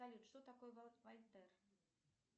салют что такое вальтер